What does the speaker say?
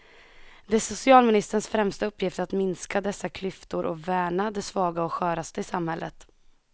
Det är en socialministers främsta uppgift att minska dessa klyftor och värna de svaga och sköraste i samhället.